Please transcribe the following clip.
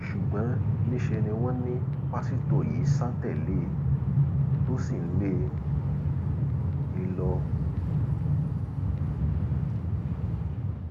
ṣùgbọn níṣẹ ni wọn ní pásítọ yìí sá tẹlé e tó sì ń lé e lọ